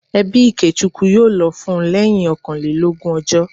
Ẹbí Ikechukwu yóò lọ fún lẹ́yìn ọkànlélógún ọjọ́